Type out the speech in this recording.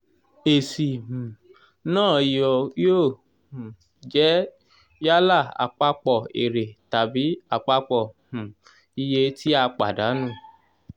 èsì um náà yóò um jẹ́ yálà àpapọ̀ èrè tàbí àpapọ̀ um iye tí a pàdánù.